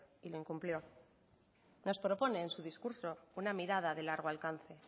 y lo incumplió nos propone en su discurso una mirada de largo alcance